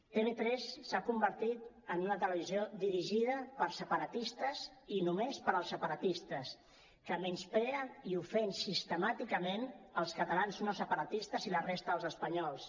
tv3 s’ha convertit en una televisió dirigida per separatistes i només per als separatistes que menysprea i ofèn sistemàticament els catalans no separatistes i la resta dels espanyols